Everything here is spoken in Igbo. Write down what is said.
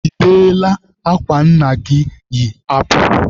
Ị deela akwa nna gị yi apụ?